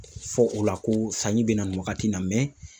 Fɔ o la ko sanji bɛ na nin wagati in na